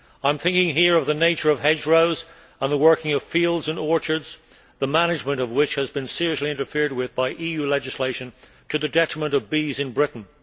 I am thinking here of the nature of hedgerows and the working of fields and orchards, the management of which has been seriously interfered with by EU legislation, to the detriment of bees in Britain.